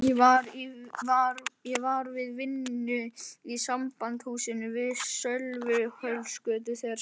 Ég var við vinnu í Sambandshúsinu við Sölvhólsgötu þegar Sveinn